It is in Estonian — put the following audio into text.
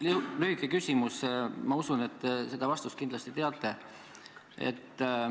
Mul on lühike küsimus, ma usun, et te seda vastust kindlasti teate.